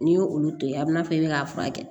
N'i ye olu to yen a bɛna fɔ i bɛ k'a furakɛ